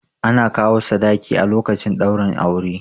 Ana kawo sadaki a lokacin ɗaurin aure